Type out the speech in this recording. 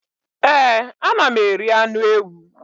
Ee, ana m eri anụ ewu.